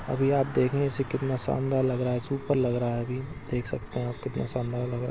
अभी आप देखने से कितना शानदार लग रहा है सुपर लग रहा है अभी देख सकते है आप कितना शानदार लग रहा है।